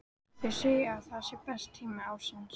Þau segja að það sé besti tími ársins.